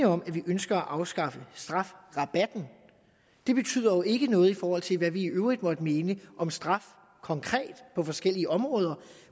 om at vi ønsker at afskaffe strafferabatten det betyder jo ikke noget i forhold til hvad vi i øvrigt måtte mene om straf konkret på forskellige områder